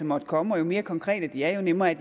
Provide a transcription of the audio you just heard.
måtte komme og jo mere konkrete de er jo nemmere er